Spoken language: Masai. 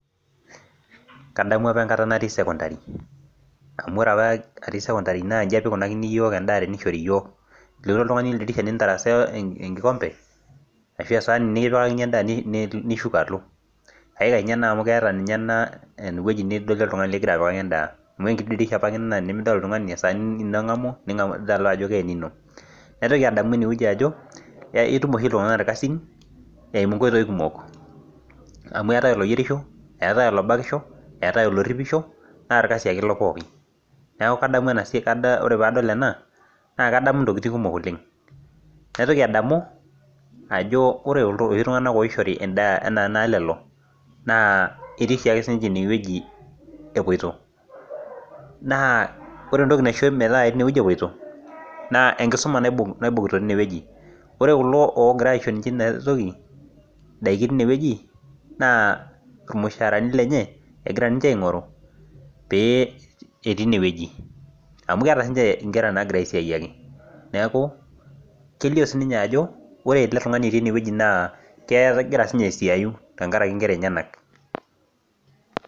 Kadamu apa enkata natii sekondari, amu ore apa atii sekondari naaji ikoni teneishori iyiook. ilotu oltungani oldirisha nintarasaa enkikompe. ashu esaani, nikipikakini edaa nilo. ikash ena amu keeta ewueji nidolie oltungani likigira apikaki edaa. amu ore enkiti dirisha apa Ina esaani nengamu ajo kaa eninko. naotoki adamu idie wueji ajo ketum iltunganak irkasin, eimu nkoitoi kumok, amu eetae oloyierisho, eetae olobakisho, eetae oloripisho naa olkasi ake ilo pookin. neeku ore pee adol ena naa kadamu ntokitin kumok oleng naitoki adamu, ajo ore iloshi tunganak oishori edaa naz ketii oshi aje sii ninche ine wueji, epoito. naa ore entoki naisho metaa ketii ine wueji epoito naa enkisuma naibungita teine wueji. ore kulo oogira aisho daikin teine wueji naa ilimusharani lenye egira aing'oru, keeta sii ninche nkera naagira aisiyuakk. neeku ore ele tungani otii ene wueji naa kegira sii ninye aisiayu tenkaraki nkera enyenak.